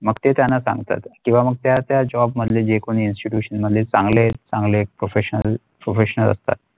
मग ते त्यांना सांगतात किंवा मग त्या त्या job मधले जे कोणी institutes मध्ये चांगले चांगले Professional professor असतात.